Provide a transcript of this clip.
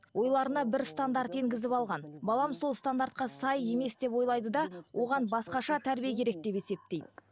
ойларына бір стандарт енгізіп алған балам сол стандартқа сай емес деп ойлайды да оған басқаша тәрбие керек деп есептейді